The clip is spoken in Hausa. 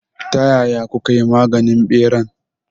Ta yaya kukayi maganin ɓeran?